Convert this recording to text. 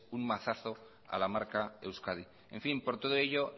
un mazazo a la marca euskadi en fin por todo ello